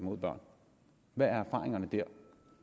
mod børn hvad er erfaringerne der